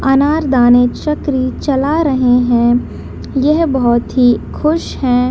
अनार दाने चकरी चला रहे हैं | यह बहुत ही खुश हैं ।